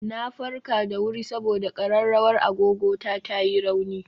Na farka da wuri saboda ƙararrawar agogo ta ta yi rauni